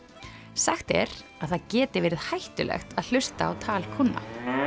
sagt er að það geti verið hættulegt að hlusta á tal kúnna